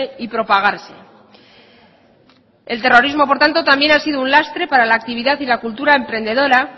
y propagarse el terrorismo por tanto también ha sido un lastre para la actividad y la cultura emprendedora